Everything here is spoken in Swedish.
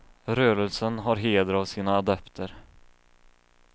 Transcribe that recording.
Rörelsen har heder av sina adepter.